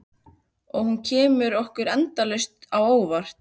Og hún kemur okkur endalaust á óvart.